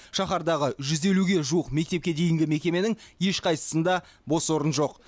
шаһардағы жүз елуге жуық мектепке дейінгі мекеменің ешқайсысында бос орын жоқ